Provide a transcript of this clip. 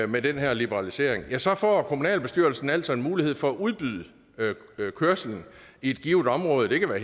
med den her liberalisering ja så får kommunalbestyrelsen altså en mulighed for at udbyde kørslen i et givent område det kan være